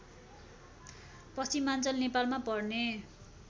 पश्चिमाञ्चल नेपालमा पर्ने